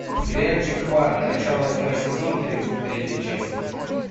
сериальчик хваран начало восьмой сезон тридцать третья часть